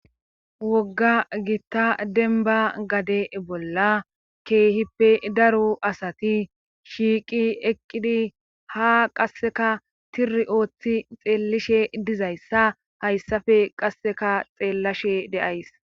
wogga gitta denba gade bolla keehippe daro asati shiiqi eqqidi ha qasseka tani ooththi xeelishe dizayssa hayssafe qasseka xeellashe de7ays